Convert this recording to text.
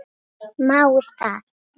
Má það?